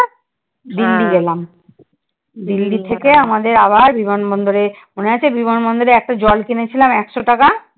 দিল্লি গেলাম দিল্লি থেকে আমাদের আবার বিমান বন্দরে, মনে আছে বিমান বন্দরে একটা জল কিনেছিলাম একশো টাকা?